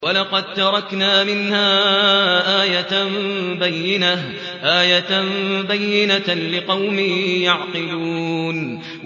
وَلَقَد تَّرَكْنَا مِنْهَا آيَةً بَيِّنَةً لِّقَوْمٍ يَعْقِلُونَ